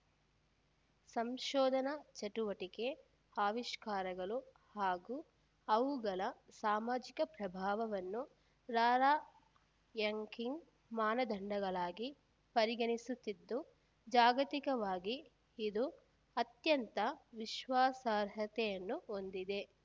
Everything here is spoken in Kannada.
ಸಂಶೋಧನಾ ಚಟುವಟಿಕೆ ಆವಿಷ್ಕಾರಗಳು ಹಾಗೂ ಅವುಗಳ ಸಾಮಾಜಿಕ ಪ್ರಭಾವವನ್ನು ರಾರ‍ಯಂಕಿಂಗ್‌ ಮಾನದಂಡಗಳಾಗಿ ಪರಿಗಣಿಸುತ್ತಿದ್ದು ಜಾಗತಿಕವಾಗಿ ಇದು ಅತ್ಯಂತ ವಿಶ್ವಾಸಾರ್ಹತೆಯನ್ನು ಹೊಂದಿದೆ